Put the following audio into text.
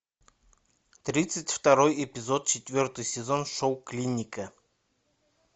тридцать второй эпизод четвертый сезон шоу клиника